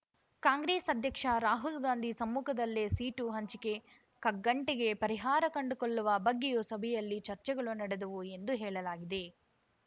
ಕಾಂಗ್ರೆಸ್ ಅಧ್ಯಕ್ಷ ರಾಹುಲ್‌ಗಾಂಧಿ ಸಮ್ಮುಖದಲ್ಲೇ ಸೀಟು ಹಂಚಿಕೆ ಕಗ್ಗಂಟಿಗೆ ಪರಿಹಾರ ಕಂಡುಕೊಳ್ಳುವ ಬಗ್ಗೆಯೂ ಸಭೆಯಲ್ಲಿ ಚರ್ಚೆಗಳು ನಡೆದವು ಎಂದು ಹೇಳಲಾಗಿದೆ